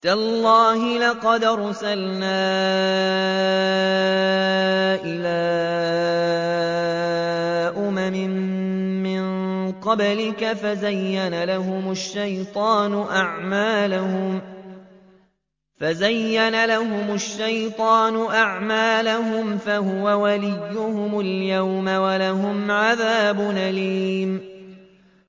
تَاللَّهِ لَقَدْ أَرْسَلْنَا إِلَىٰ أُمَمٍ مِّن قَبْلِكَ فَزَيَّنَ لَهُمُ الشَّيْطَانُ أَعْمَالَهُمْ فَهُوَ وَلِيُّهُمُ الْيَوْمَ وَلَهُمْ عَذَابٌ أَلِيمٌ